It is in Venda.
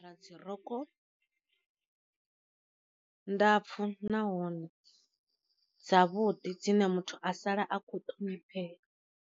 Ra dzi rogo ndapfu nahone dza vhuḓi dzine muthu a sala a kho ṱhonifheya.